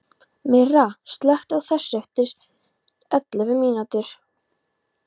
Myrra, slökktu á þessu eftir ellefu mínútur.